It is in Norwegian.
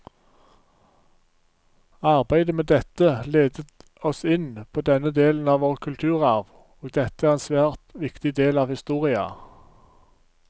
Arbeidet med dette ledet oss inn på denne delen av vår kulturarv, og dette er en svært viktig del av historia.